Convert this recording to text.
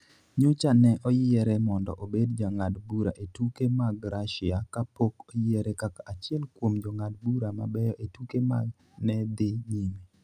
Nyocha ne oyiere mondo obed jang'ad bura e tuke mag Russia ka pok oyiere kaka achiel kuom jong'ad bura mabeyo e tuke ma ne dhi nyime.